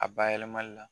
A ba yɛlɛmali la